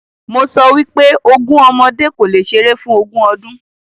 Mo sọ wípé “ogún ọmọdé kò lè ṣeré fún ogún ọdún.”